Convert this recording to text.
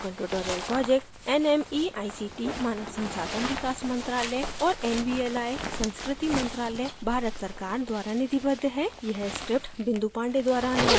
spoken tutorial project nmeict मानव संसाधन विकास मंत्रायल और nvli संस्कृति मंत्रालय भारत सरकार द्वारा निधिबद्ध है